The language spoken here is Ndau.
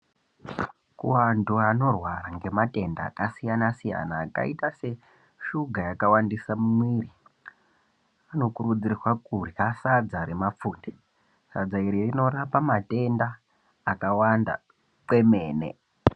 Vanthu vanorwara ngematenda akasiyana siyana akaita seshuga yakawandisa mumwiri vanokurudzirwa kurya sadza remafunde. Sadza iri rinorapa matenda akawanda kwemene.